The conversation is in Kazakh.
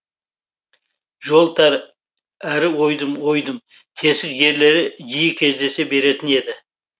жол тар әрі ойдым ойдым тесік жерлері жиікездесе беретін еді